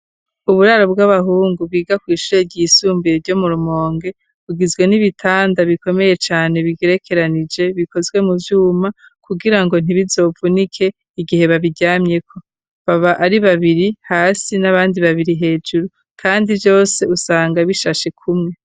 Uburaro bw'abahungu, biga kw'ishure ryisumbuye, ryo mu Rumonge, bugizwe n'ibitanda, bikomeye cane, bigerekeranije; bikozwe mu vyuma, kugira ngo, ntibizovunike, igihe babiryamyeko; baba ari babiri hasi, n'abandi babiri hejuru; kandi vyose, usanga bishashe, kumwe.